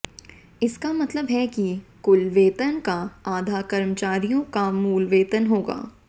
इसका मतलब है कि कुल वेतन का आधा कर्मचारियों का मूल वेतन होगा